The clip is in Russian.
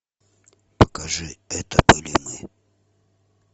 покажи это были мы